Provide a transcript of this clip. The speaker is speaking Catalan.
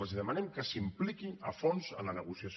els demanem que s’impliquin a fons en la negociació